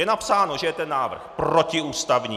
Je napsáno, že je ten návrh protiústavní.